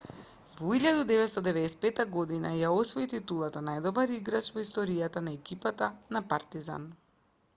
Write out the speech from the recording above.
во 1995 година ја освои титулата најдобар играч во историјата на екипата на партизан